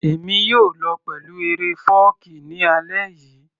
Èmi yóò lọ pẹ̀lú eré fọ́ọ̀kí ní alẹ́ yìí